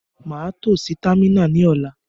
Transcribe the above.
Màa to si támìnà ní ọ̀la